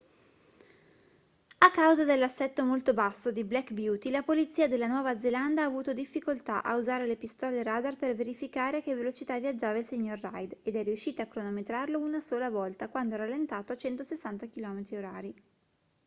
a causa dell'assetto molto basso di black beauty la polizia della nuova zelanda ha avuto difficoltà a usare le pistole radar per verificare a che velocità viaggiava il signor reid ed è riuscita a cronometrarlo una sola volta quando ha rallentato a 160 km/h